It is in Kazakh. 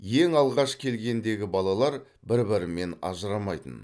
ең алғаш келгендегі балалар бір бірімен ажырамайтын